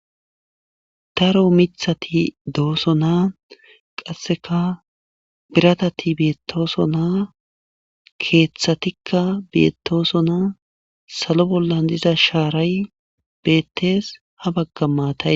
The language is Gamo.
Daro mithati doosonaa qasseka biratati beettoosonaa keeththatikka beettoosonaa salo bollan diza shaaray beettees ha bagga maatay